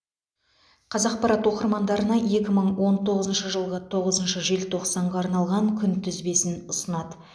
қазақпарат оқырмандарына екі мың он тоғызыншы жылғы тоғызыншы желтоқсанға арналған күнтізбесін ұсынады